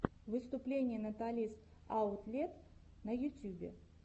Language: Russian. выступление наталис аутлет на ютьюбе